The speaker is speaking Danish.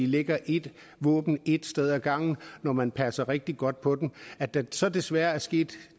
ligger et våben et sted ad gangen når man passer rigtig godt på dem at der så desværre er sket